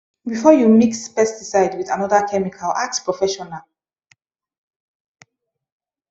before you mix pesticide with another chemical ask professional